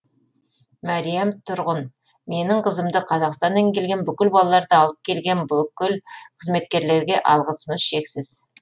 мәриям тұрғын менің қызымды қазақстаннан келген бүкіл балаларды алып келген бүкіл қызметкерлерге алғысымыз шексіз